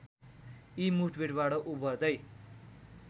यी मुठभेडबाट उभर्दै